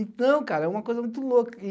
Então, cara, é uma coisa muito louca.